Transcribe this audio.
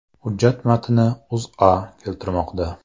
Hujjat matnini O‘zA keltirmoqda .